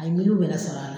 A ye miliyɔn wɛrɛ sɔrɔ a la